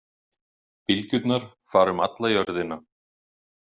Bylgjurnar fara um alla jörðina.